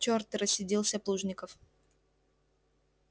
черт рассердился плужников